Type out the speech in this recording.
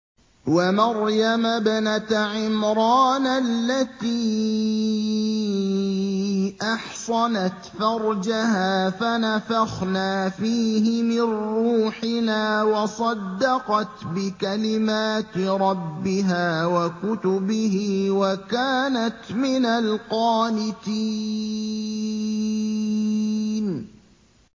وَمَرْيَمَ ابْنَتَ عِمْرَانَ الَّتِي أَحْصَنَتْ فَرْجَهَا فَنَفَخْنَا فِيهِ مِن رُّوحِنَا وَصَدَّقَتْ بِكَلِمَاتِ رَبِّهَا وَكُتُبِهِ وَكَانَتْ مِنَ الْقَانِتِينَ